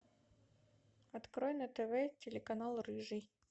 открой на тв телеканал рыжий